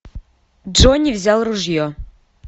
джонни взял ружье